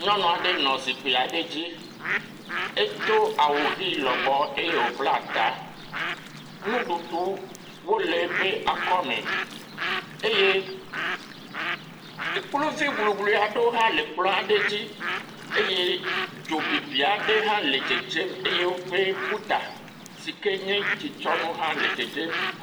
Nyɔnu aɖe nɔ zikpui aɖe dzi. Edo awu ʋi lɔbɔ eye wobla ta. Nuɖuɖuwo le eƒe akɔme eye ekpluvi guglui aɖewo hã le ekplɔ aɖe dzi eye dzobibi aɖe hã le dzedze eye woƒe bu ta si ke tsitsɔnu hã le dzedzem.